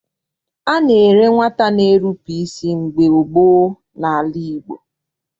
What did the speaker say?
A na-ere nwata na-erupu isi mgbe gboo n'ala Igbo.